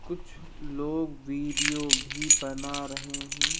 कुछ लोग वीडियो भी बना रहे हैं।